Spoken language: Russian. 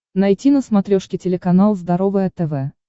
найти на смотрешке телеканал здоровое тв